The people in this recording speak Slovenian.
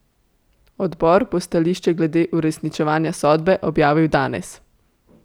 Odbor bo stališče glede uresničevanja sodbe objavil danes.